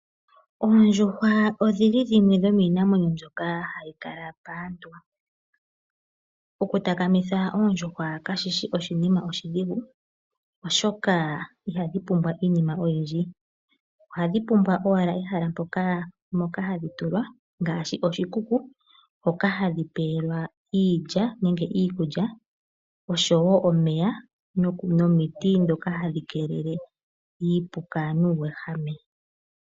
Oondjuhwa dhimwe dhomiinamwenyo mbyoka hayi kala paantu. Okutakamitha oondjuhwa kashi shi oshinima oshidhigu, oshoka ihadhi pumbwa iinima oyindji. Ohadhi pumbwa owala ehala moka hadhi tulwa ngaashi oshikuku hoka hadhi tulilwa iilya nenge iikulya, omeya nomiti ndhoka hadhi keelele iipuka nuuwehame.